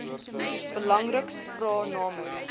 belangriks vra namens